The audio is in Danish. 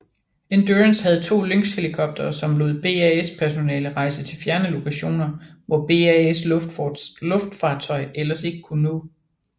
Endurance havde to Lynxhelikoptere som lod BAS personale rejse til fjerne lokationer hvor BAS luftfartøj ellers ikke kunne nå